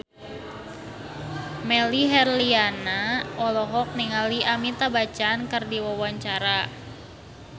Melly Herlina olohok ningali Amitabh Bachchan keur diwawancara